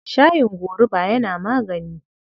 Shayin gorubu yana magani.